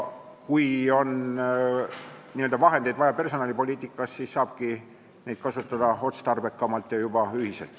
Kui personalipoliitikas on vahendeid vaja, siis saabki neid kasutada otstarbekamalt ja juba ühiselt.